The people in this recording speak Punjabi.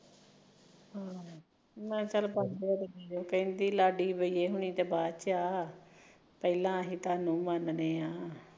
ਆਹੋ ਪੰਜ ਸੋ ਲਾਡੀ ਏਹ ਤਾਂ ਬਾਅਦ ਚ ਪਹਿਲਾ ਅਸੀਂ ਤੁਹਾਨੂੰ ਮੰਨਦੇ ਐ